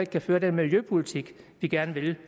kan føre den miljøpolitik vi gerne vil